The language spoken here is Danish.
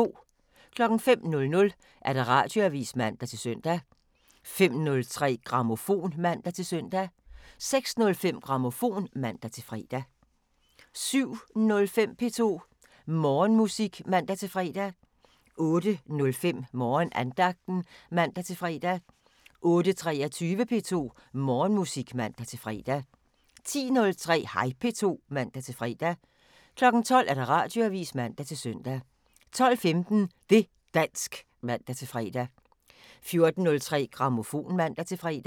05:00: Radioavisen (man-søn) 05:03: Grammofon (man-søn) 06:05: Grammofon (man-fre) 07:05: P2 Morgenmusik (man-fre) 08:05: Morgenandagten (man-fre) 08:23: P2 Morgenmusik (man-fre) 10:03: Hej P2 (man-fre) 12:00: Radioavisen (man-søn) 12:15: Det' dansk (man-fre) 14:03: Grammofon (man-fre)